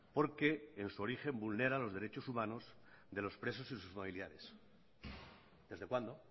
porque en su origen vulnera los derechos humanos de los presos y sus familiares desde cuándo